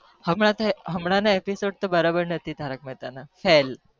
હમણાં થી તારક મહેતા ના બધા episode બરાબર નથી